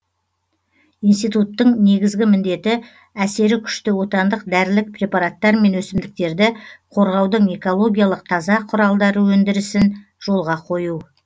институттың негізгі міндеті әсері күшті отандық дәрілік препараттар мен өсімдіктерді қорғаудың экологиялық таза құралдары өндірісін жолға қою